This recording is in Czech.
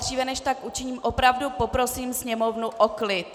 Dříve než tak učiním, opravdu poprosím sněmovnu o klid.